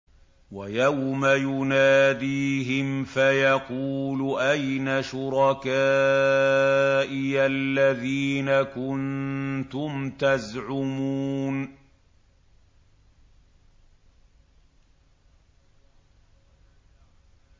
وَيَوْمَ يُنَادِيهِمْ فَيَقُولُ أَيْنَ شُرَكَائِيَ الَّذِينَ كُنتُمْ تَزْعُمُونَ